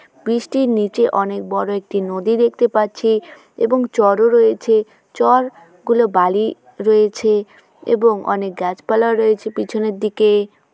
bridge টির নিচে অনেক বড়ো একটি নদী দেখতে পাচ্ছি এবং চর ও রয়েছে চর-গুলো বালি রয়েছে এবং অনেক গাছপালা রয়েছে পিছনের দিকে--